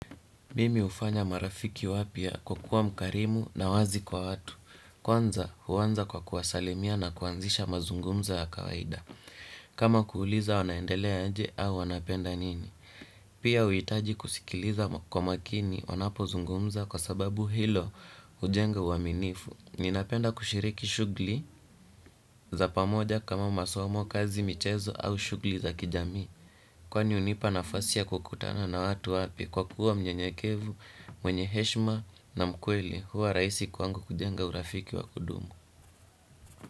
Mimi hufanya marafiki wapya kwa kuwa mkarimu na wazi kwa watu. Kwanza huanza kwa kuwasalimia na kuanzisha mazungumzo ya kawaida. Kama kuuliza wanaendelea aje au wanapenda nini. Pia huhitaji kusikiliza kwa makini wanapozungumza kwa sababu hilo hujenga uaminifu. Ninapenda kushiriki shughuli za pamoja kama masomo, kazi, michezo au shughuli za kijamii. Kwani hunipa nafasi ya kukutana na watu wapya kwa kuwa mnyenyekevu mwenye heshima na mkweli huwa rahisi kwangu kujenga urafiki wa kudumu.